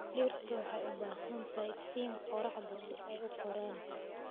Dhirtu waxay u baahan tahay iftiinka qoraxda si ay u koraan.